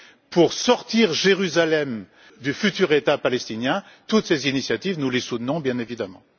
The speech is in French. pour sortir Jérusalem du futur État palestinien, toutes ces initiatives, nous les soutenons bien évidemment.